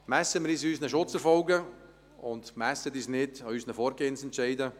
Messen wir uns an unseren Schutzerfolgen, und messen Sie uns nicht an unseren Vorgehensentscheiden.